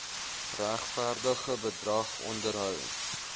regverdige bedrag onderhoud